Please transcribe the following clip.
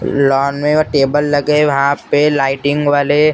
lawn में वो table लगे वहां पे लाइटिंग वाले--